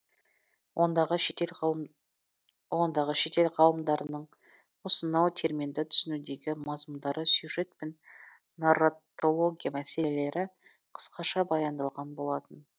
ондағы шетел ғалымдарының осынау терминді түсінудегі мазмұндары сюжет пен нарратология мәселелері қысқаша баяндалған болатын